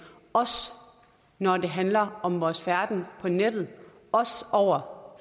også når det handler om vores færden på nettet og om